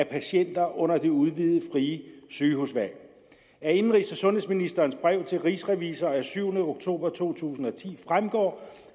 patienter under det udvidede frie sygehusvalg af indenrigs og sundhedsministerens brev til rigsrevisor af syvende oktober to tusind og ti fremgår